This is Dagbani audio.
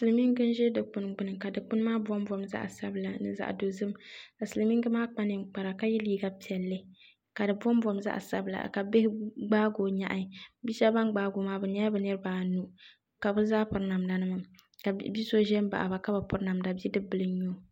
Silimiingi ze Dikpuni gbuni ka dukpuni maa bombom zaɣ' sabila ni zaɣ' dozim ka silimiingi maa kpaninkpara ka yɛ liiga piɛli ka bombom zaɣ' sabila ka bihi gbaakoo nyɛhi bɛ sbɛb ban gnaako maa bɛnyɛla bɛ niri baa anu ka bɛ zaa piri namdanima ka biso zinbaɣaba ka bu pirinamda bi puɣingi n nyuo